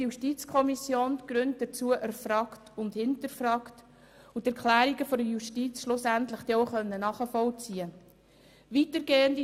Die JuKo hat die Gründe dafür erfragt und hinterfragt und die Erklärungen der Justiz schliesslich auch nachvollziehen können.